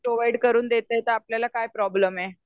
Provide करून देतात तर आपल्याला काय प्रोब्लेम आहे.